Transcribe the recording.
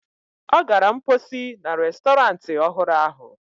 Ọ gara mposi na restọrantị ọhụrụ ahụ.